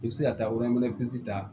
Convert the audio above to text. I bɛ se ka taa o ta